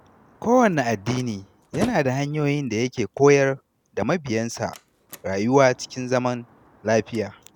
Kowanne addini yana da hanyoyin da yake koyar da mabiyansa rayuwa cikin zaman lafiya.